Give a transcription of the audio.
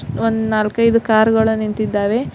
ಒಂದ್ ನಾಲ್ಕೈದು ಕಾರ್ ಗಳು ನಿಂತಿದ್ದಾವೆ.